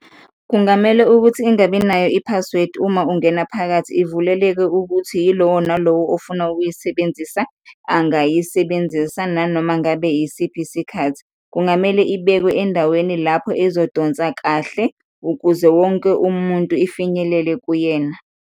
Kungamele ukuthi ingabi nayo i-password, uma ungena phakathi ivuleleke ukuthi yilowo nalowo ofuna ukuyisebenzisa angayisebenzisa nanomangabe yisiphi isikhathi. Kungamele ibekwe endaweni lapho izodonsa kahle ukuze wonke umuntu ifinyelele kuyena.